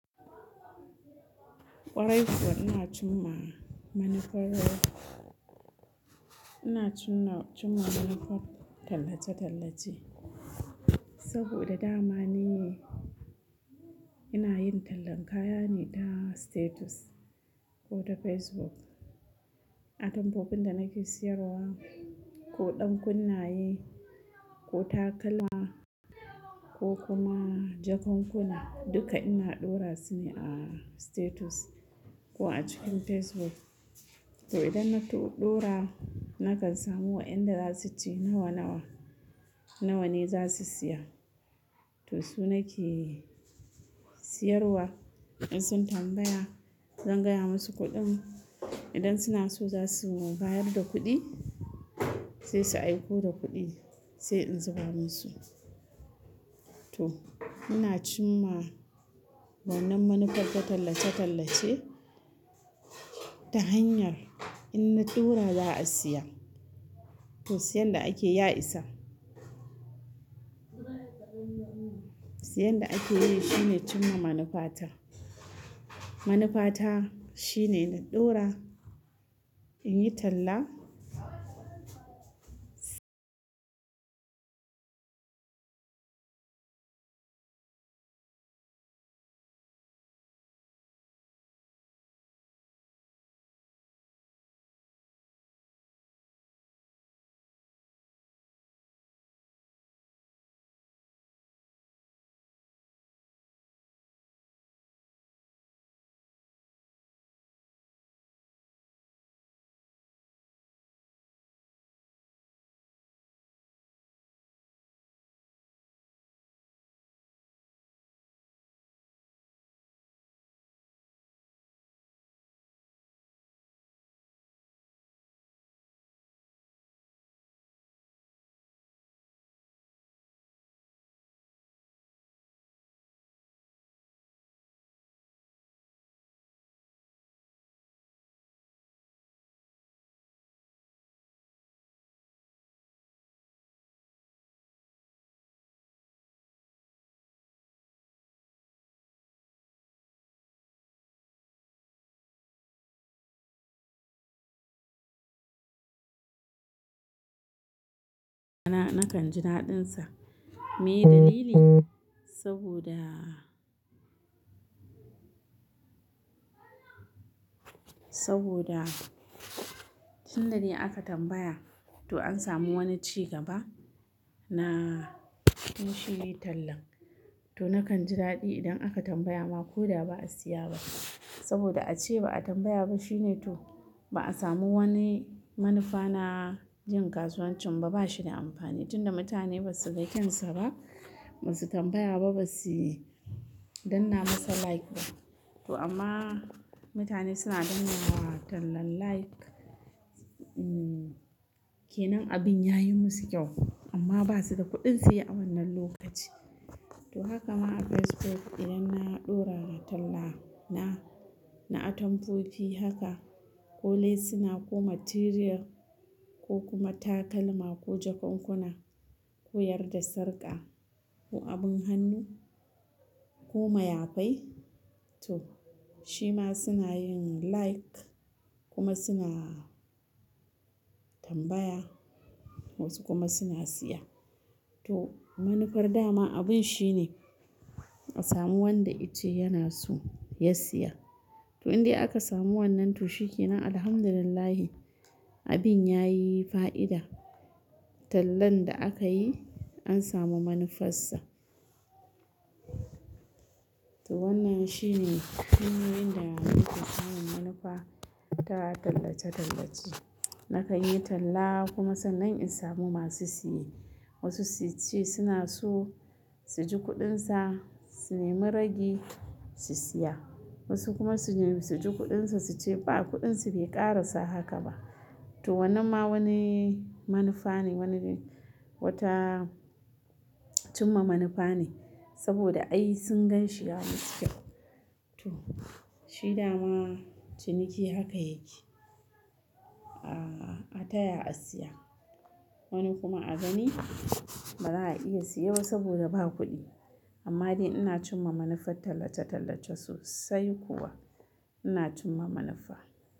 Kwarai kuwa ina cin ma manufar, ina cin ma, cin ma manufar tallace-tallace saboda dama ni ina yin tallan kaya ne ta status ko ta Facebook. Atamfofin da nake siyarwa ko ɗan kunnaye ko takalma ko kuma jakunkuna duka ina ɗora su ne a status ko a cikin Facebook. To, idan na ɗora nakan samu wa'inda za su ce nawa, nawa, nawa ne za su siya. To su nake siyarwa, in sun tambaya zan gaya musu kuɗin idan suna so za su bayar da kuɗi sai su aiko da kuɗi sai in zuba musu. To ina cin ma wannan manufar ta tallace-tallace ta hanyar in na ɗora za a siya. To siyan da ake ya isa. Siyan da ake yi shine cin ma manufa ta. Manufa ta shine na ɗora, in yi talla. Na, na kan ji daɗinsa. Me dalili? Saboda, saboda tun da dai aka tambaya to an samu wani ci gaba na yin shi tallan. To na kan ji daɗi idan aka tambaya ma ko da ba a siya ba saboda a ce ba a tambaya ba shine to ba a samu wani manufa na yin kasuwancin ba, ba shi da amfani tun da mutane ba su ga kyan sa ba, ba su tambaya ba, ba su danna masa like ba. To amma mutane suna danna wa tallan like, umm, ke nan abin ya yi musu kyau amma ba su da kuɗin siye a wannan lokaci. To haka ma a Facebook idan na ɗora na talla na, na atamfofi haka ko lesina ko matiriyal ko kuma takalma ko jakunkuna ko yarda sarƙa ko abin hannu ko mayafai. To shi ma suna yin like kuma suna tambaya wasu kuma suna siya. To manufar dama abun shi ne a samu wanda i ce yana so ya siya. To in dai aka samu wannan to shi ke nan. Alhamdulillah abin ya yi fa'ida. Tallan da aka yi an samu manufarsa. To wannan shi ne hanyoyin da ake samun manufa ta tallace-tallace. Na kan yi talla kuma sannan in samu masu siye wasu su ce suna so su ji kuɗin sa, su nemi ragi su siya wasu kuma su nemi su ji kuɗin sa su ce ba kuɗin sa bai ƙara sa haka ba. To wannan ma wani manufa ne, wani wata cin ma manufa ne saboda ai sun gan shi ya musu kyau. To shi dama ciniki haka yake. A, a taya a siya wani kuma a gani ba za a iya siye ba saboda ba kuɗi amma dai ina cin ma manufar tallace-tallace sosai kuwa ina cin ma manufa.